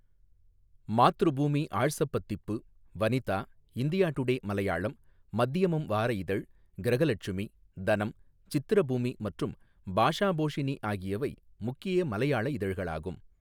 மாத்ருபூமி ஆழ்சப்பத்திப்பு, Vanitha, India Today Malayalam, Madhyamam வார இதழ், கிரகலட்சுமி, தனம், சித்திரபூமி மற்றும் பாஷாபோஷினி ஆகியவை முக்கிய மலையாள இதழ்களாகும்.